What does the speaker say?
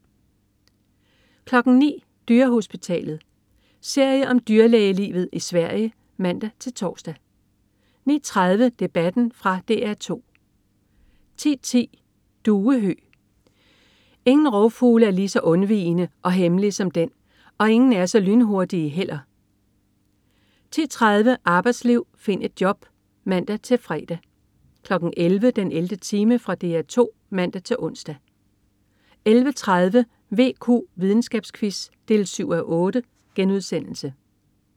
09.00 Dyrehospitalet. Serie om dyrlægelivet i Sverige (man-tors) 09.30 Debatten. Fra DR 2 10.10 Duehøg. Ingen rovfugle er lige så undvigende og hemmelig som den, og ingen er så lynhurtige heller 10.30 Arbejdsliv. Find et job! (man-fre) 11.00 den 11. time. Fra DR 2 (man-ons) 11.30 VQ. Videnskabsquiz 7:8*